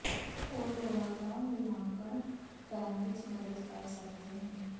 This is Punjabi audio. ਉਹ ਲੋੜਾਂ ਦਾ ਮੁਲਾਂਕਣ ਕਰਨ ਵਿੱਚ ਮਦਦ ਕਰ ਸਕਦੇ ਹਨ